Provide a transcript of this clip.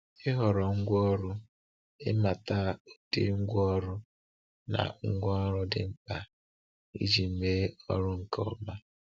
Ịhọrọ Ngwaọrụ – Ịmata ụdị ngwa ọrụ na ngwaọrụ dị mkpa iji mee ọrụ nke ọma.